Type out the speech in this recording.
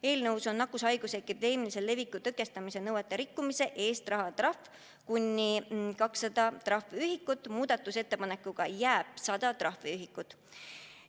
Eelnõus on nakkushaiguse epideemilise leviku tõkestamise nõuete rikkumise eest rahatrahv kuni 200 trahviühikut, muudatusettepanekuga jääb 100 trahviühikut.